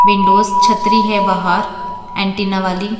Windows छतरी है बाहर एंटीना वाली।